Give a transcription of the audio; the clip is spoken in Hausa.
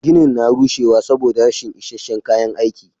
Ginin na rushewa saboda rashin is isasshen kayan aiki.